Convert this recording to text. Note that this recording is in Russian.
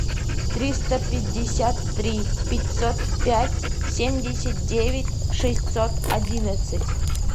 триста пятьдесят три пятьсот пять семьдесят девять шестьсот одиннадцать